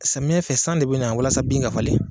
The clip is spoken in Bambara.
Samiyɛn fɛ san de bɛ na walasa bin ka falen.